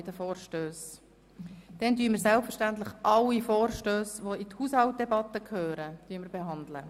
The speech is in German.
Selbstverständlich werden wir auch sämtliche Vorstösse, die in die Haushaltsdebatte gehören, diskutieren.